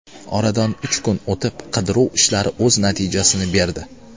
Oradan uch kun o‘tib, qidiruv ishlari o‘z natijasini berdi.